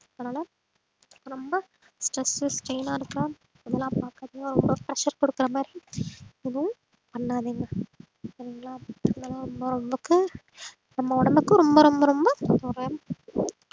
அதனால ரொம்ப stress strain ஆ இருக்கா இதெல்லாம் பார்க்கறதுன்னா ரொம்ப pressure கொடுக்கிற மாதிரி எதுவும் பண்ணாதீங்க சரிங்களா நம்ம ந~ நமக்கு நம்ம உடம்புக்கு ரொம்ப ரொம்ப ரொம்ப